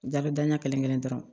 Dagadanya kelen kelen dɔrɔn